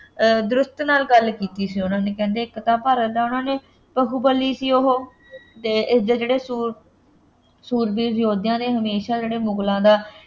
ਨਾਲ ਗੱਲ ਕੀਤੀ ਸੀ ਉਹਨਾ ਨੇ ਕਹਿੰਦੇ ਇੱਕ ਤਾਂ ਭਾਰਤ ਦਾ ਉਹਨਾ ਨੇ ਬਹੁਬਲੀ ਸੀ ਉਹ ਅਤੇ ਇਸਦੇ ਜਿਹੜੇ ਸੂਰ~ ਸੂਰਬੀਰ ਯੋਧਿਆਂ ਨੇ ਹਮੇਸ਼ਾਂ ਜਿਹੜੇ ਮੁਗਲਾਂ ਦਾ